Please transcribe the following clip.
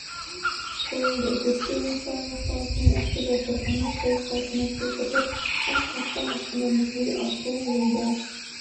қойылды зерттеу жұмыстары аяқталысымен ақтөбе қорғаны толық қалпына келтіріліп ашық аспан астында музей ашу ойда